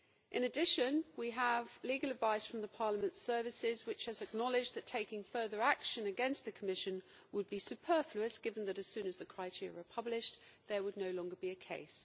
In addition, we have legal advice from Parliament's services which has acknowledged that taking further action against the Commission would be superfluous given that, as soon as the criteria are published, there would no longer be a case.